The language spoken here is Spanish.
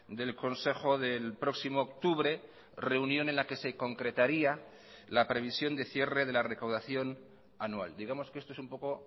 del consejo del próximo octubre reunión en la que se concretaría la previsión de cierre de la recaudación anual digamos que esto es un poco